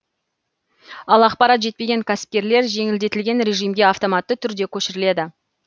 ал ақпарат жетпеген кәсіпкерлер жеңілдетілген режимге автоматты түрде көшіріледі